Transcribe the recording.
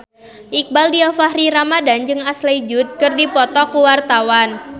Iqbaal Dhiafakhri Ramadhan jeung Ashley Judd keur dipoto ku wartawan